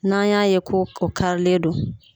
N'an y'a ye ko o karilen do.